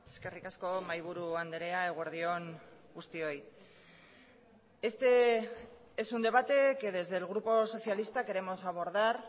eskerrik asko mahaiburu andrea eguerdi on guztioi este es un debate que desde el grupo socialista queremos abordar